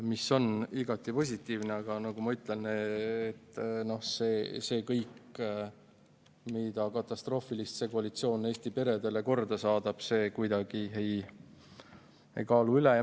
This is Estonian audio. See on igati positiivne, aga nagu ma ütlesin, see kõik ei kaalu kuidagi üle seda, mida katastroofilist see koalitsioon Eesti perede suhtes korda saadab.